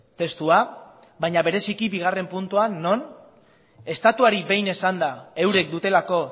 testua baina bereziki bigarren puntuan non estatuari behin esanda eurek dutelako